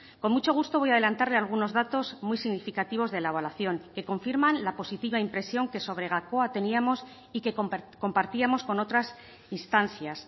con mucho gusto voy adelantarle algunos datos muy significativos de la evaluación que confirman la positiva impresión que sobre gakoa teníamos y que compartíamos con otras instancias